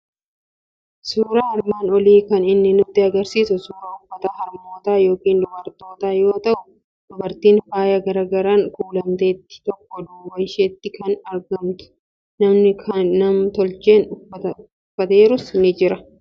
Suuraan armaan olii kan inni nutti argisiisu suuraa uffata harmootaa yookiin dubartootaa yoo ta'u, dubartiin faaya garaa garaan kuulamteettu tokko duuba ishiitti kan argamtu, namni nam-tolcheen uffata uffateerus ni jiru.